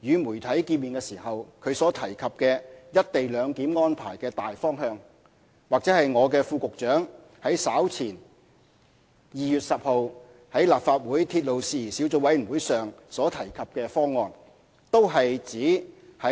與傳媒見面時他所提及"一地兩檢"安排的"大方向"，或我的副局長於稍前2月10日在立法會鐵路事宜小組委員會會議上所提及的"方案"，均是指